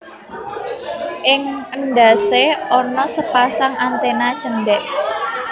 Ing endhasé ana sepasang antèna cendhek